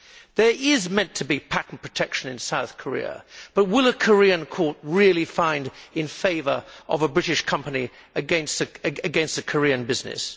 There is meant to be patent protection in South Korea, but will a Korean court really find in favour of a British company against a Korean business?